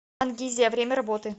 ангизия время работы